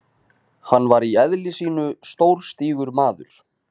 Hann var í eðli sínu stórstígur maður.